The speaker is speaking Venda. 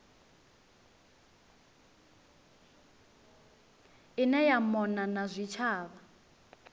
ine ya mona na zwitshavha